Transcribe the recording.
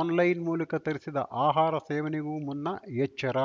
online ಮೂಲಕ ತರಿಸಿದ ಆಹಾರ ಸೇವನೆಗೂ ಮುನ್ನ ಎಚ್ಚರ